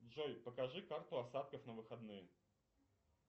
джой покажи карту осадков на выходные